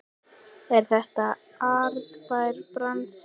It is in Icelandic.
Er þetta arðbær bransi?